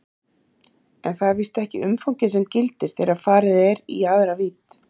En það er víst ekki umfangið sem gildir þegar farið er í aðra vídd.